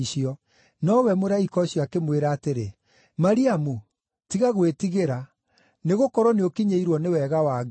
Nowe mũraika ũcio akĩmwĩra atĩrĩ, “Mariamu tiga gwĩtigĩra, nĩgũkorwo nĩũkinyĩirwo nĩ wega wa Ngai.